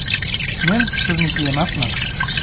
Men sizniki emasman!